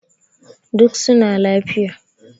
duk suna lafiya